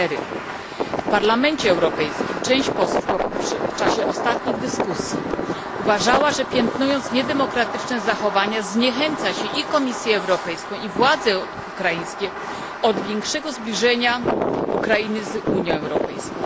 4. W Parlamencie Europejskim część posłów w czasie ostatnich dyskusji uważała, że piętnując niedemokratyczne zachowania zniechęca się i Komisję Europejską, i władze ukraińskie do większego zbliżenia Ukrainy z Unią Europejską.